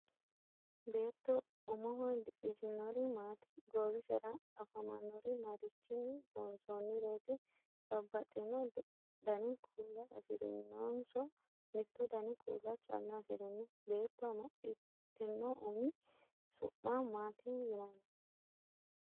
Beetto ummoho didhitinnori maati? goowissera afamannori marichinni loonssonireeti? babaxinno danni kuula afirinnonso mittu danni kuula calla afirinno? Beetto amaxitinno ummi su'ma maati yinnanni?